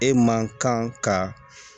E man kan ka